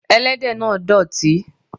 Ẹlẹ́dẹ̀ náà dọ̀tí.